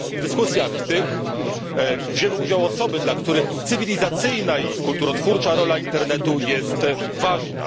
W dyskusjach tych wzięły udział osoby, dla których cywilizacyjna i kulturotwórcza rola internetu jest ważna.